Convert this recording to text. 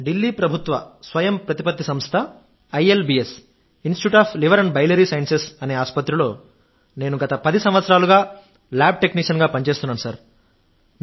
ఢిల్లీ ప్రభుత్వ స్వయంప్రతిపత్తి సంస్థ institute of liver and biliary sciences అనే ఆసుపత్రిలో నేను గత 10 సంవత్సరాలుగా ల్యాబ్ టెక్నీషియన్గా పనిచేస్తున్నాను